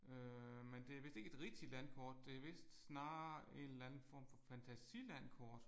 Øh men det er vist ikke et rigtigt landkort det er vist snarere en eller anden form for fantasilandkort